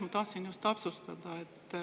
Ma tahtsin täpsustada.